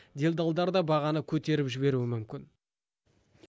делдалдар да бағаны көтеріп жіберуі мүмкін